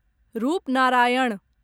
Rupnarayan